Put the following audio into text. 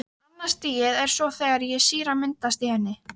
Annað stigið er svo þegar sýra myndast í henni.